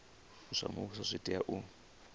zwa muvhuso zwi tea u